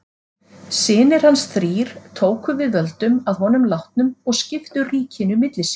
Synir hans þrír tóku við völdum að honum látnum og skiptu ríkinu milli sín.